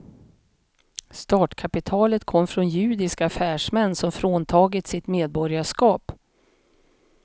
Startkapitalet kom från judiska affärsmän som fråntagits sitt medborgarskap.